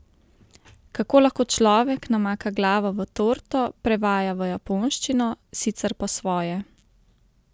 Kako lahko človek namaka glavo v torto, prevaja v japonščino, sicer po svoje?